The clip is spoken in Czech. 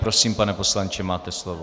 Prosím, pane poslanče, máte slovo.